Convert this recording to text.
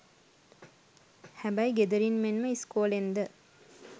හැබැයි ගෙදරින් මෙන්ම ඉස්කෝලෙන්ද